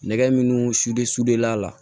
Nɛgɛ min sude a la